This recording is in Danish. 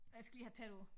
Jeg skal lige have tættere på